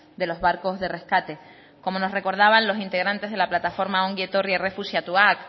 de los barcos de rescate como nos recordaban los integrantes de la plataforma ongi etorri errefuxiatuak